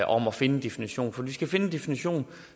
om at finde en definition for vi skal finde en definition og